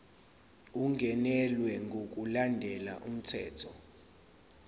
ungenelwe ngokulandela umthetho